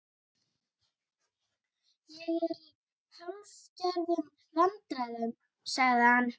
Ég er í hálfgerðum vandræðum- sagði hann.